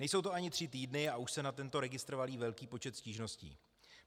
Nejsou to ani tři týdny, a už se na tento registr valí velký počet stížností.